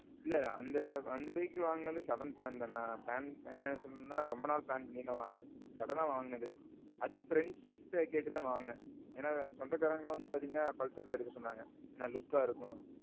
இல்ல, அந்த vehicle வாங்குனதும் sudden plan தானே? என்ன சொல்லனும்னா ரொம்ப நாள் plan பண்ணி எல்லாம் வாங்கல. suddenஆ வாங்குனது. அதுவும் friendsட கேட்டுத்தான் வாங்குனேன். ஏன்னா சொந்தகாரங்க எல்லாம் வந்து Pulsar தான் எடுக்க சொன்னாங்க. look கா இருக்கும்னு.